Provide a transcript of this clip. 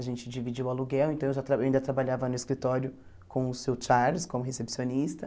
A gente dividiu o aluguel, então eu já tra eu ainda trabalhava no escritório com o seu Charles, como recepcionista.